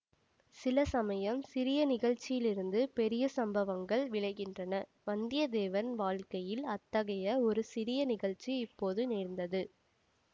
சில சமயம் சிறிய நிகழ்ச்சியிலிருந்து பெரிய சம்பவங்கள் விளைகின்றனவந்தியத்தேவன் வாழ்க்கையில் அத்தகைய ஒரு சிறிய நிகழ்ச்சி இப்போது நேர்ந்தது